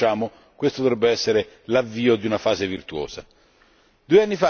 Non capisco perché, se lo ribocciamo, questo dovrebbe essere l'avvio di una fase virtuosa.